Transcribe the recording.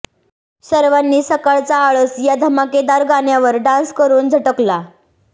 सर्वांनी सकाळचा आळस या धमाकेदार गाण्यावर डान्स करून झटकला